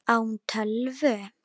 Á hún tölvu?